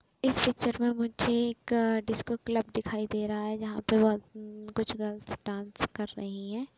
इस पिक्चर मे मुझे एक डिस्को क्लब दिखाई दे रहा है जहाँ पे बहोत उ कुछ गर्ल्स डास कर रहीं हैं।